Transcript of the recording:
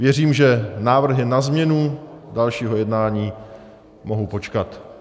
Věřím, že návrhy na změnu dalšího jednání mohou počkat.